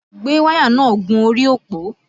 Gbé wáyà náà gun orí òpó!